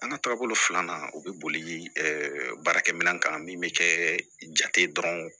An ka taabolo filanan o bɛ boli baarakɛ minɛn kan min bɛ kɛ jate dɔrɔn